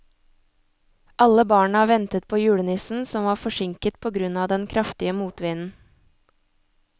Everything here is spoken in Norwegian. Alle barna ventet på julenissen, som var forsinket på grunn av den kraftige motvinden.